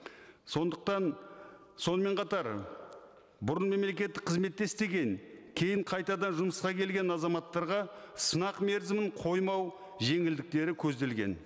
сондықтан сонымен қатар бұрын мемлекеттік қызметте істеген кейін қайтадан жұмысқа келген азаматтарға сынақ мерзімін қоймау жеңілдіктері көзделген